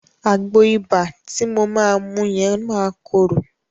Àgbo ibà ti mo máa mu yẹn máa korò.